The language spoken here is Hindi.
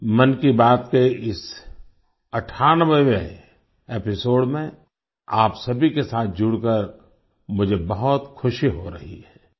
मन की बात के इस 98वें एपिसोड में आप सभी के साथ जुड़कर मुझे बहुत खुशी हो रही है